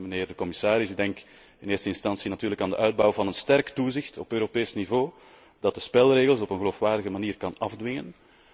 Mijnheer de commissaris, ik denk in eerste instantie natuurlijk aan de uitbouw van een sterk toezicht op Europees niveau dat de spelregels op een geloofwaardige manier kan afdwingen.